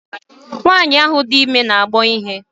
Nwaanyi ahụ dị ime n'agbọ ihe.